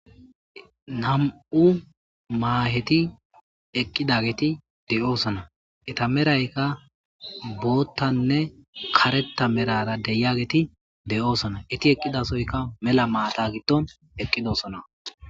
Nam'u maheti eqidageti de'osona eta meraka botane kareta merara de'iyageti de'osona eti eqidasoyka mela mata gidon eqidosona